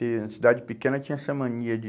e na cidade pequena, tinha essa mania de...